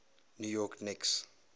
new york knicks